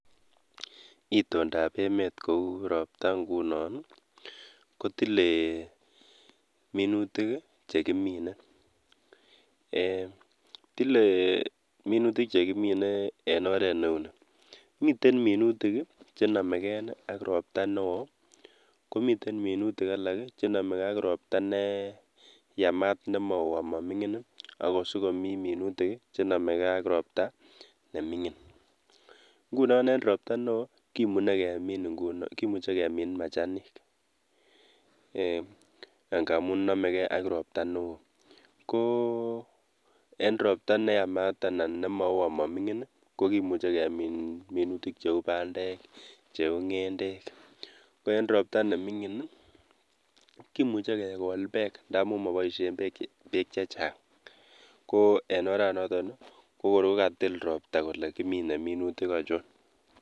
Itondap emet kou ropta ngunon kotile minutik chekimine eeh tile minutik chekimine en oret neuni miten minutik chenomekeni ak ropta neo, komiten minutik chenomegee ak ropta neyamat nemoo amoming'in akosikomii minutik chenomegee ak ropta nemingin. ngunon en ropta neo kimuche kemin majanik eeh ngamun nomegee ak ropta neo, koo en ropta neyamat anan nemo oo amoming'in ii ko kimuche kemin minutik cheu bandek, cheu ng'endek ,ko en ropta neming'in kimuche kekol bek ndamun moboisien beek chechang koo en oranato kokorko katil ropta kole kimine minutik achon.